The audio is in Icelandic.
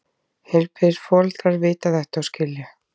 Heilbrigðir foreldrar vita þetta og skilja.